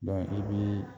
i bi